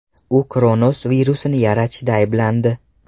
U Kronos virusini yaratishda ayblandi.